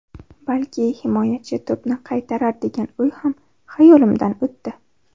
Balki himoyachi to‘pni qaytarar degan o‘y ham hayolimdan o‘tdi.